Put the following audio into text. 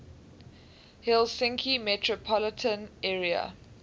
helsinki metropolitan area